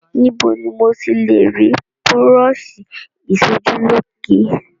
Níbo ni mo ti le rí búrọ́ṣì ìṣojúlóge?